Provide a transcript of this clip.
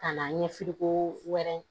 Ka na ɲɛfi ko wɛrɛ